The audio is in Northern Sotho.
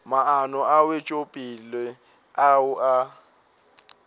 maano a wetšopele ao a